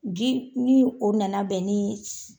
Ji ni o nan bɛn ni